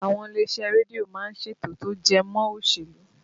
Àwọn ilé iṣẹ́ rédíò má ń ṣètò tó jẹ mọ́ òṣèlú